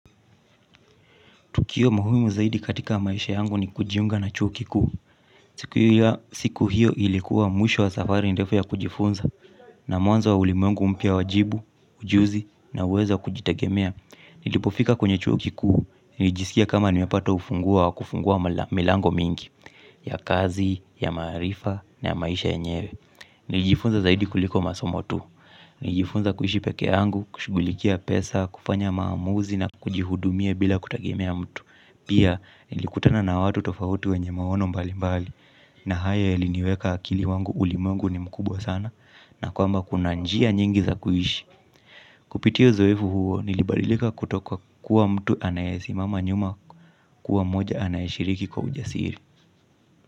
Tukio muhimu zaidi katika maisha yangu ni kujiunga na chuo kikuu. Siku hiyo ilikuwa mwisho wa safari ndefu ya kujifunza na mwanzo wa ulimwengu mpia wajibu, ujuzi na uweza kujitegemea. Nilipofika kwenye chuo kikuu, nilijiskia kama nimepata ufunguo wa kufungua milango mingi ya kazi, ya maarifa na maisha yenyewe. Nijifunza zaidi kuliko masomotu. Nijifunza kuishi peke yangu, kushughulikia pesa, kufanya maamuzi na kujihudumia bila kutegemea mtu. Pia nilikutana na watu tofauti wenye maono mbali mbali na haya yaliniweka akili wangu ulimwengu ni mkubwa sana na kwamba kuna njia nyingi za kuishi. Kupitia uzoefu huo nilibadilika kutoka kuwa mtu anayesi mama nyuma kuwa moja anayeshiriki kwa ujasiri.